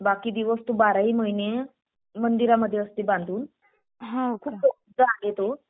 बाकी दिवस तो बाराही महिने मंदिरामध्ये असते. खूप जागृत आहे तो.